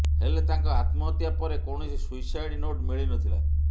ହେଲେ ତାଙ୍କ ଆତ୍ମହତ୍ୟା ପରେ କୌଣସି ସୁଇସାଇଡ୍ ନୋଟ୍ ମିଳିନଥିଲା